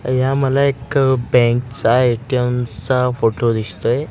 या मला एक बँक चा एटीएम चा फोटो दिसतोयं.